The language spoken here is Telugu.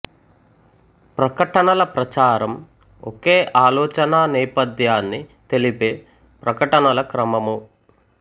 ప్రకటనల ప్రచారం ఒకే ఆలోచన నేపథ్యాన్ని తెలిపే ప్రకటనల క్రమము